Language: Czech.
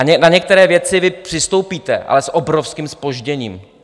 A na některé věci vy přistoupíte, ale s obrovským zpožděním.